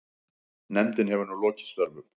Nefndin hefur nú lokið störfum.